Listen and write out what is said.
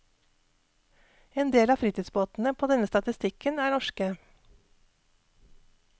En del av fritidsbåtene på denne statistikken er norske.